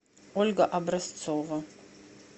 ольга образцова